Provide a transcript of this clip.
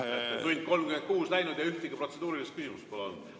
Üks tund ja 36 minutit läinud juba ja ühtegi protseduurilist küsimust pole olnud.